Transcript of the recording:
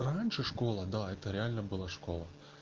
раньше школа да это реально была школа